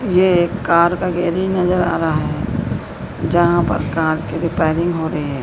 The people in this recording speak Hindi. ये एक कार का गैरेज नजर आ रहा है जहां पर कार के रिपेयरिंग हो रही है।